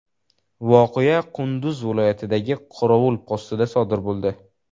Voqea Qunduz viloyatidagi qorovul postida sodir bo‘ldi.